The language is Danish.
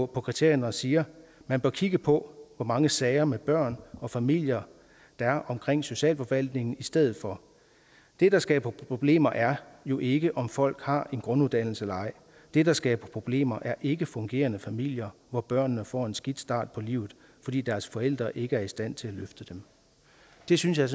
kriterierne og siger man bør kigge på hvor mange sager med børn og familier der er omkring socialforvaltningen i stedet for det der skaber problemer er jo ikke om folk har en grunduddannelse eller ej det der skaber problemer er ikkefungerende familier hvor børnene får en skidt start på livet fordi deres forældre ikke er i stand til at løfte dem det synes jeg